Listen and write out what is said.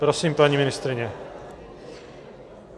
Prosím, paní ministryně.